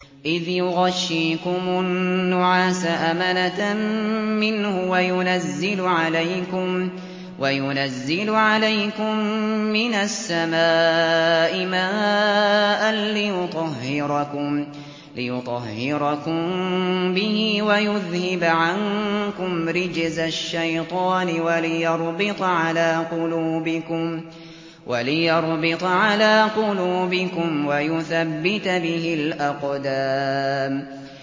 إِذْ يُغَشِّيكُمُ النُّعَاسَ أَمَنَةً مِّنْهُ وَيُنَزِّلُ عَلَيْكُم مِّنَ السَّمَاءِ مَاءً لِّيُطَهِّرَكُم بِهِ وَيُذْهِبَ عَنكُمْ رِجْزَ الشَّيْطَانِ وَلِيَرْبِطَ عَلَىٰ قُلُوبِكُمْ وَيُثَبِّتَ بِهِ الْأَقْدَامَ